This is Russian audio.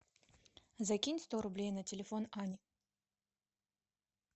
закинь сто рублей на телефон ани